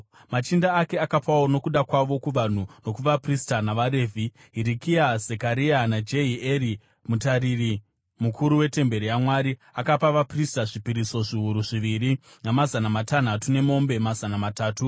Machinda ake akapawo nokuda kwavo kuvanhu nokuvaprista navaRevhi. Hirikia, Zekaria naJehieri, mutariri mukuru wetemberi yaMwari akapa vaprista zvipiriso zviuru zviviri namazana matanhatu nemombe mazana matatu.